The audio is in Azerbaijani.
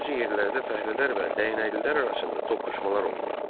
Bəzi yerlərdə fəhlələr və dəyənəklilər arasında toqquşmalar olurdu.